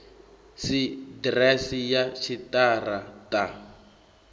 si ḓiresi ya tshiṱara ṱa